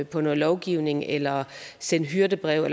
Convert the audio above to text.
på noget lovgivning eller sende hyrdebreve